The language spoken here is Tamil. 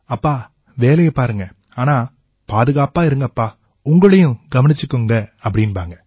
அப்பா வேலை பாருங்க ஆனா பாதுகாப்பா இருங்கப்பா உங்களையும் கவனிச்சுக்குங்க அப்படீம்பாங்க